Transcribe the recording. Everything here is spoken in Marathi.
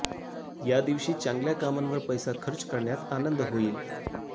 या दिवशी चांगल्या कामांवर पैसा खर्च करण्यात आनंद होईल